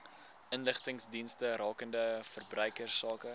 inligtingsdienste rakende verbruikersake